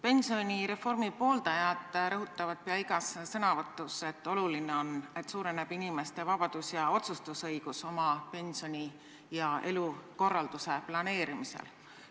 Pensionireformi pooldajad rõhutavad peaaegu igas sõnavõtus, et oluline on see, et suureneb inimeste vabadus ja otsustusõigus oma pensioni ja elukorralduse planeerimisel.